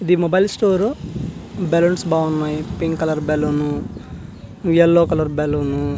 ఇది mobile store balloons బాగునాయ్ pink colour balloon yellow colour balloon .